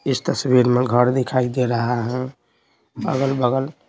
इस तस्वीर में घर दिखाई दे रहा है अगल-बगल।